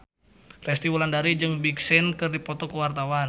Resty Wulandari jeung Big Sean keur dipoto ku wartawan